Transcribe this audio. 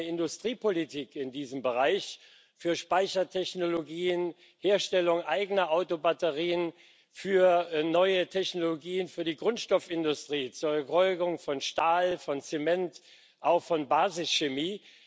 Haben wir eine Industriepolitik in diesem Bereich für Speichertechnologien, Herstellung eigener Autobatterien, für neue Technologien für die Grundstoffindustrie, zur Erzeugung von Stahl, von Zement, auch von Basischemie?